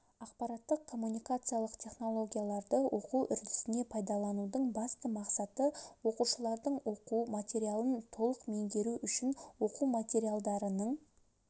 ақпараттық-коммуникациялық технологияларды оқу үрдісіне пайдаланудың басты мақсаты оқушылардың оқу материалын толық меңгеруі үшін оқу материалдарының